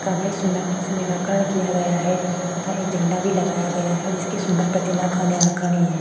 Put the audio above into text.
सुंदरता से निराकरण किया गया है तथा एक झंडा भी लगाया गया है जिसकी सुंदर प्रतिमा का निराकरण ये है।